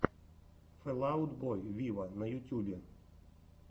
фэл аут бой виво на ютубе